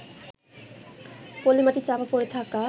পলিমাটি চাপা পড়ে থাকা